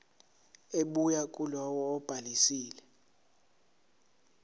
ebuya kulowo obhalisile